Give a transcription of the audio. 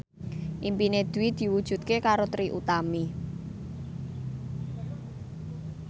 impine Dwi diwujudke karo Trie Utami